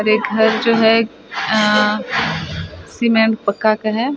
और ये घर जो है अ सीमेंट पक्का का हैं।